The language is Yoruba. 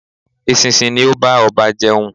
Eṣinṣin ni ó bá ọba jẹun